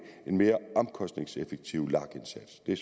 en mere omkostningseffektiv lag indsats det